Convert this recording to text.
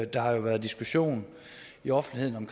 der har jo været diskussion i offentligheden om